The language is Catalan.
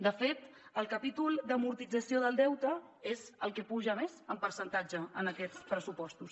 de fet el capítol d’amortització del deute és el que puja més en percentatge en aquests pressupostos